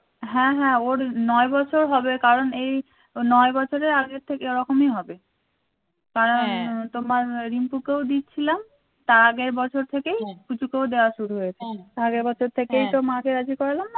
হ্যাঁ হ্যাঁ ওর নয় বছর হবে কারণ এই নয় বছরের আগের থেকে রকমই হবে কারণ তোমার রিংকুকেও দিচ্ছিলাম তার আগের বছর থেকেই পুচুকেও দেয়া শুরু হয়েছে আগের বছর থেকেই তো মাকে রাজি করলাম না